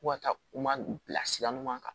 Ko ka taa u ma bilasira ɲuman kan